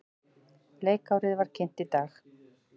Leikárið var kynnt í dag.